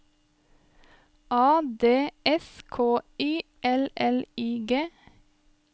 A D S K I L L I G